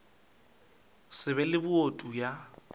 se be le boutu ya